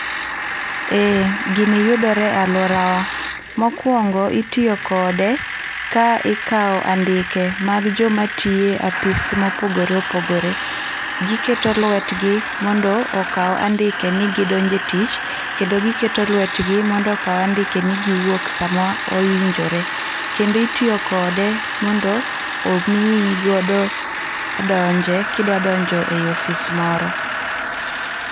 Eeeh, gini yudore e aluora wa, mokuongo itiyo kode ka ikaw andike mag joma tiye apis mopogore opogore, giketo lwetgi mondo okaw andike ni gidonjo e tich kendo giketo lwetgi mondo okaw andike ni giwuok sama owinjore. Kendo itiyo kode mondo omiyi godo donje, kidwa donje e ofis moro